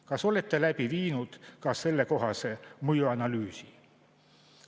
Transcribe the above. Kas olete läbi viinud ka sellekohase mõjuanalüüsi?